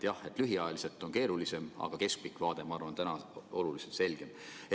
Jah, lühiajaliselt on keerulisem, aga keskpikk vaade on minu arvates täna oluliselt selgem.